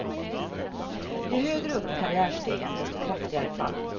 Ju högre upp på karriärstegen, desto kraftigare fall.